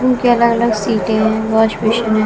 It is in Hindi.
जिनकी अलग अलग सीटे हैं वॉश बेसिन --